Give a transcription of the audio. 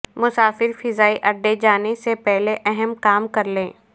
مسافر فضائی اڈے جانے سے پہلے اہم کام کرلیں